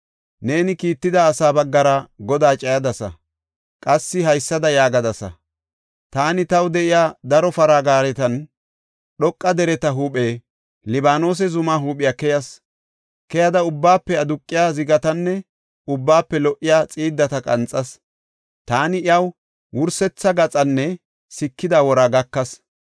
Neeni kiitida asaa baggara Godaa cayadasa. Qassi haysada yaagadasa; Taani taw de7iya daro para gaaretan dhoqa dereta huuphe, Libaanose zumaa huuphiya keyas. Keyada ubbaafe aduqiya zigatanne ubbaafe lo77iya xiiddata qanxas. Taani iyaw wursetha gaxaanne sikida wora gakas.